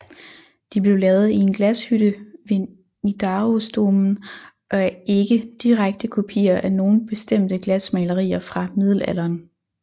De blev lavet i en glashytte ved Nidarosdomen og er ikke direkte kopier af nogen bestemte glasmalerier fra middelalderen